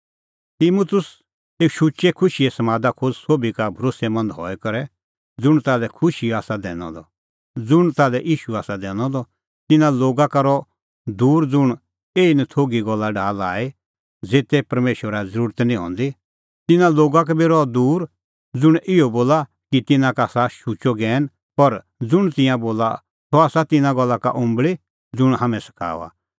तिमुतुस एऊ शुचै खुशीए समादा खोज़ सोभी का भरोस्सैमंद हई करै ज़ुंण ताल्है ईशू आसा दैनअ द तिन्नां लोगा का रहअ दूर ज़ुंण एही नथोघी गल्ला डाहा लाई ज़ेते परमेशरा ज़रुरत निं हंदी तिन्नां लोगा का बी रहअ दूर ज़ुंण इहअ बोला कि तिन्नां का आसा शुचअ ज्ञैन पर ज़ुंण तिंयां बोला सह आसा तिन्नां गल्ला का उल्टी ज़ुंण हाम्हैं सखाऊआ